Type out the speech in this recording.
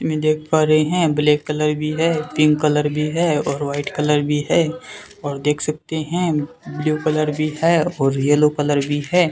मैं देख पा रहे हैं ब्लैक कलर भी है पिंक कलर भी है और वाइट कलर भी है और देख सकते हैं ब्लू कलर भी है और येलो कलर भी है।